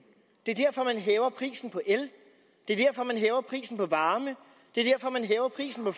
det er derfor man hæver prisen på el det er derfor man hæver prisen på varme det er derfor man hæver prisen på